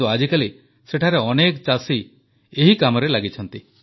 କିନ୍ତୁ ଆଜିକାଲି ସେଠାରେ ଅନେକ ଚାଷୀ ଏହି କାମରେ ଲାଗିଛନ୍ତି